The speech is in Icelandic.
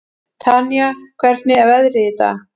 Tanía, hvernig er veðrið í dag?